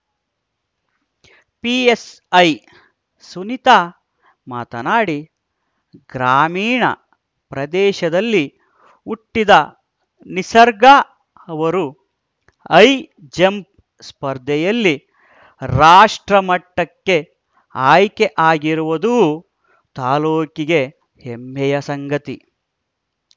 PSI Sunita ಮಾತನಾಡಿ ಗ್ರಾಮೀಣ ಪ್ರದೇಶದಲ್ಲಿ ಹುಟ್ಟಿದ ನಿಸರ್ಗ ಅವರು ಹೈ ಜಂಪ್‌ ಸ್ಪರ್ಧೆಯಲ್ಲಿ ರಾಷ್ಟ್ರ್ರಮಟ್ಟಕ್ಕೆ ಆಯ್ಕೆ ಆಗಿರುವುದು ತಾಲೂಕಿಗೆ ಹೆಮ್ಮೆಯ ಸಂಗತಿ